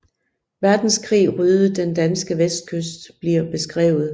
Verdenskrig ryddede den danske vestkyst bliver beskrevet